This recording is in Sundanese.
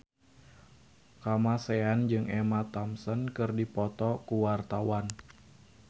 Kamasean jeung Emma Thompson keur dipoto ku wartawan